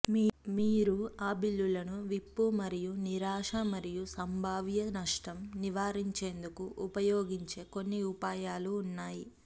మీరు ఆ బిల్లులను విప్పు మరియు నిరాశ మరియు సంభావ్య నష్టం నివారించేందుకు ఉపయోగించే కొన్ని ఉపాయాలు ఉన్నాయి